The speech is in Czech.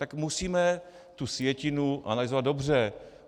Tak musíme tu sjetinu analyzovat dobře.